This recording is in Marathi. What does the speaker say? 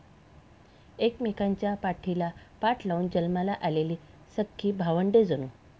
एकमेकांच्या पाठीला पाठ लावून जन्माला आलेली सख्खी भावंडे जणू.